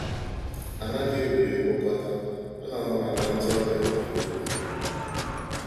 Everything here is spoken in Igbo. A naghị ewere mkpokọta, a na-anabata ndị ọbịa mgbe niile.